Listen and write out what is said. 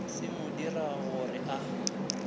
se mo dirago gore a